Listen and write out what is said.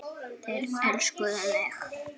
Þeir elskuðu mig.